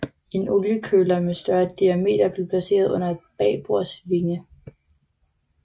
En oliekøler med større diameter blev placeret under bagbords vinge